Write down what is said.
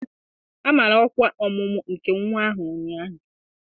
A mara ọkwa ọmụmụ nke nwa ahụ ụnyaahụ